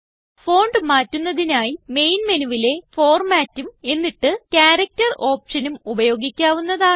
fontമാറ്റുന്നതിനായി main മെനുവിലെ Formatഉം എന്നിട്ട് ക്യാരക്ടർ ഓപ്ഷനും ഉപയോഗിക്കാവുന്നതാണ്